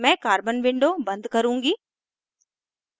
मैं carbon window बंद करुँगी